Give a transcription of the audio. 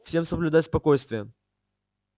всем соблюдать спокойствие